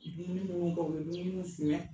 A Be minnuw baw ye o bɛ minnu suyen